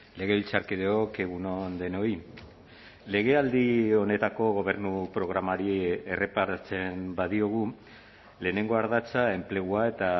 legebiltzarkideok egun on denoi legealdi honetako gobernu programari erreparatzen badiogu lehenengo ardatza enplegua eta